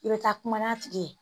I bɛ taa kuma n'a tigi ye